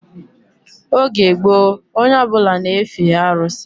Oge gboo onye ọbụla na-efe arụsị